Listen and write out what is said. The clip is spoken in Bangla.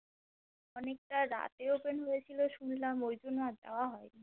অনেকটা রাতে Open হয়েছিল শুনলাম ওই জন্য আর যাওয়া হয় নি